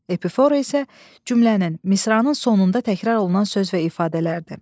Epifora isə cümlənin, misranın sonunda təkrar olunan söz və ifadələrdir.